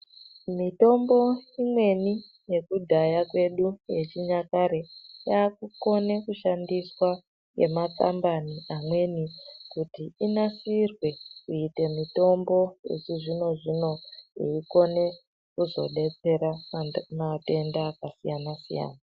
Mitombo imweni yekudhaya kwedu yechinyakare yakukona kushandiswa nemakambani amweni kuti inasirwe kuita mitombo yechizvino zvino inokona kuzodetsera antu nematenda akasiyana-siyana.